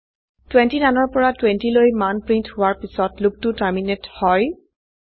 29 ৰ পৰা20লৈ মান প্ৰিন্ট হোৱাৰ পিছত লুপটো টৰ্মিনেট হয়